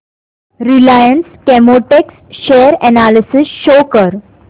Reliance Chemotex share analysis show कर